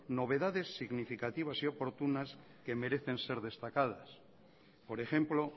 novedades significativas y oportunas que merecen ser destacadas por ejemplo